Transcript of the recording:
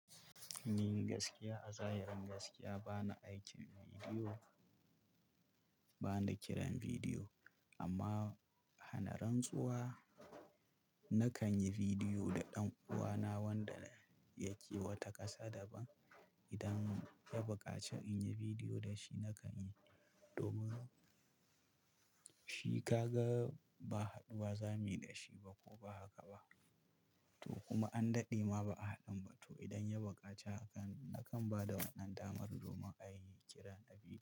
Ni gaskiya, a zahirin gaskiya ba na aikin bidiyo, ba na kiran bidiyo. Amma a hanaran tsuwa, na kan yi bidiyo da ɗan uwana wanda yake wata ƙasa daban. Idan ya buƙaci in yi bidiyo da shi, na kan yi. Domin shi ka ga ba haɗuwa za mu yi da shi ba ko ba haka ba. To kuma an daɗe ma ba a haɗu ba. To idan ya buƙaci, na kan ba da wannan damar domin a yi kira na bidiyo.